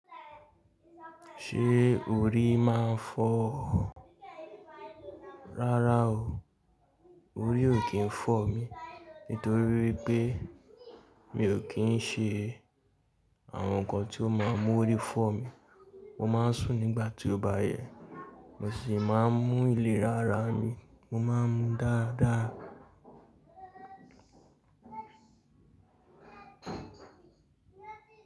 Ṣé orí máa ń fọ́ ọ? Rárá o. Orí ò kí ń fọ̀ mí, nítorí pé mi ò kí ń ṣe àwọn nǹkan tí ó máa mú orí fọ́ mi. Mo máa ń sùn nígbà tí ó bá yẹ, mo sì máa ń mú ìlera ara mi, mo máa ń mu dáadáa.